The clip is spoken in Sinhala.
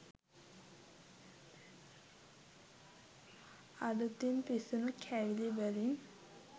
අලුතින් පිසුණු කැවිලි වලින්